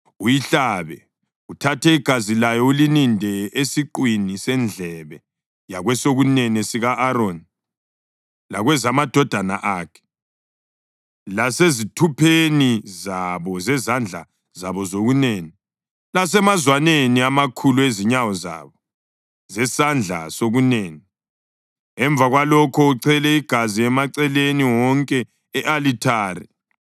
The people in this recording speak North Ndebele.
Uyihlabe, uthathe igazi layo ulininde esiqwini sendlebe yakwesokunene sika-Aroni lakwezamadodana akhe, lasezithupheni zabo zezandla zabo zokunene, lasemazwaneni amakhulu ezinyawo zabo zesandla sokunene. Emva kwalokho uchele igazi emaceleni wonke e-alithare.